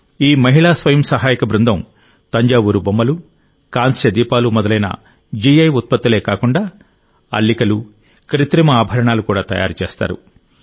ఈ మహిళా స్వయం సహాయక బృందం తంజావూరు బొమ్మలు కాంస్య దీపాలు మొదలైన జిఐ ఉత్పత్తులే కాకుండా అల్లికలు కృత్రిమ ఆభరణాలు కూడా తయారు చేస్తారు